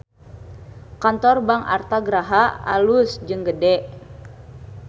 Kantor Bank Artha Graha alus jeung gede